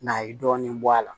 N'a ye dɔɔnin bɔ a la